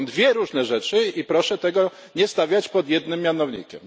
To są dwie różne rzeczy i proszę tego nie stawiać pod jednym mianownikiem.